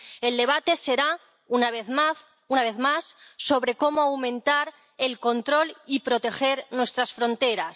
El debate será, una vez más, sobre cómo aumentar el control y proteger nuestras fronteras.